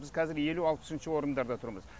біз қазір елу алпысыншы орындарда тұрмыз